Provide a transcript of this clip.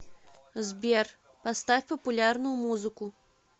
сбер поставь популярную музыку